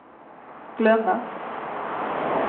glömma